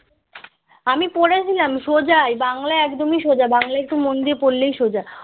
আমি পড়েছিলাম সোজাই বাংলা একদম সোজা বাংলাএকটু মন দিয়ে পড়লেই সোজা